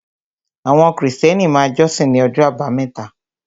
Àwọn Krìstẹ́nì máa jọ́sìn ní ọjọ́ àbámẹ́ta